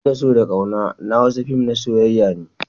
In da so da ƙauna na Hausa fin na soyyayar ne